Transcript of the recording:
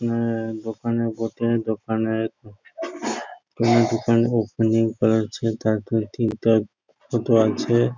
না দোকানের বটে দোকানে ওপেনিং করা হচ্ছে | তাইতো ঠিকঠাক মতো আছে ।